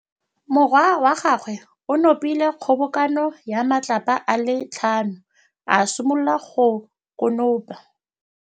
Morwa wa gagwe o nopile kgobokanô ya matlapa a le tlhano, a simolola go konopa.